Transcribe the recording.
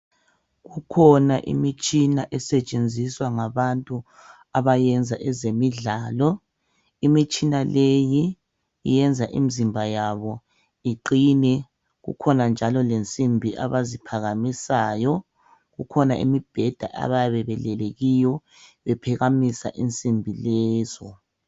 Kukhona imitshina esetshenziswa ngabantu abayenza ezemidlalo. Imitshina leyi yenza imizimba yabo iqine, Kukhona njalo imibheda abayabe belele kiyo, bephakamisa insimbi lezo.